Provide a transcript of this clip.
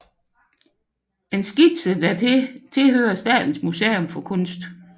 En skitse dertil tilhører Statens Museum for Kunst